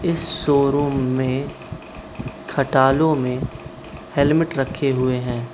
इस शोरूम में खटालों में हेलमेट रखे हुए हैं।